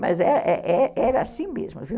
Mas é é é assim mesmo, viu?